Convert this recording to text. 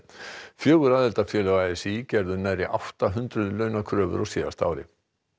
fjögur aðildarfélög a s í gerðu nærri átta hundruð launakröfur á síðasta ári